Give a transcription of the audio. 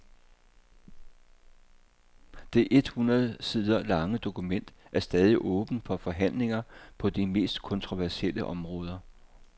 Det et hundrede sider lange dokument er stadig åbent for forhandlinger på de mest kontroversielle områder.